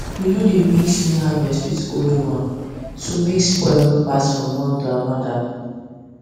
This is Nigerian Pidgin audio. we no dey mix new harvest with old one so make spoil no pass from one to another